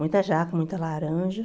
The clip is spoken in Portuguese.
Muita jaca, muita laranja.